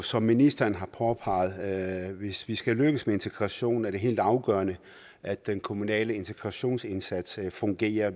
som ministeren har påpeget er det hvis vi skal lykkes med integration helt afgørende at den kommunale integrationsindsats fungerer